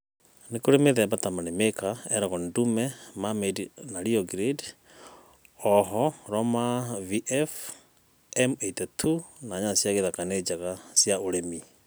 nĩkũrĩ mĩthemba ta money maker, elgon ndũme, marmande na rĩo grande. Ooho roma vf,m-82 na nyanya cĩa gĩthaka nĩnjega cĩa ũrĩmĩ